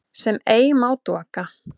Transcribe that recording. sem ei má doka